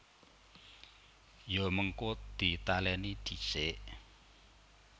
Ya mengko ditalèni dhisik